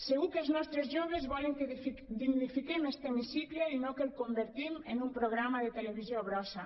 segur que els nostres joves volen que dignifiquem este hemicicle i no que el convertim en un programa de televisió brossa